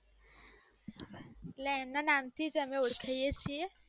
એટલે એના નામ થીજ અમે ઓળખાય છીએ